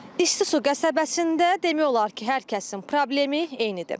İstisu qəsəbəsində demək olar ki, hər kəsin problemi eynidir.